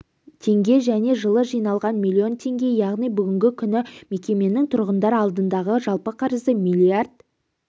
теңге және жылы жиналған миллион теңге яғни бүгінгі күні мекеменің тұрғындар алдындағы жалпы қарызы миллиард